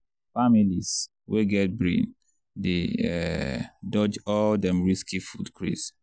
families wey get brain dey um dodge all them risky food craze.